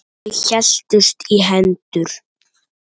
Þau héldust í hendur.